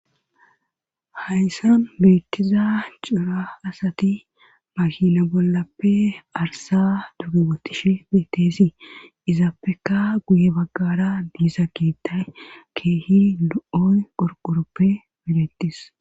Hayssan beettiza cira asati mahila bollappe arsa duge botishe beetteesi izaappeka guye baggara biisa kiittay keehi lo7oy qorqoroppe medettis.